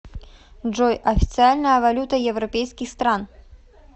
джой официальная валюта европейских стран